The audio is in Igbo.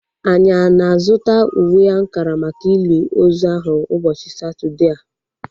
Anyị ana-azụta uwe ankara maka ili ozu ahu ụbọchị Satọdee a?